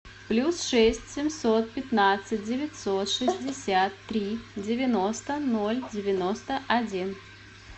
плюс шесть семьсот пятнадцать девятьсот шестьдесят три девяносто ноль девяносто один